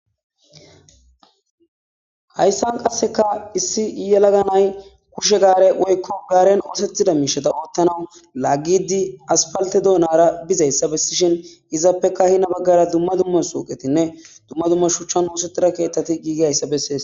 hayssan qasseka issi yelaga nay kushe gaare woykko gaaren oosethida miishata oottanau laaggidi aspalte doonara bizayssa bessishin izaappeka hina baggara dumma dumma suuqetinne dumma dumma shuchchan oosettira keettati giigiayssa bessees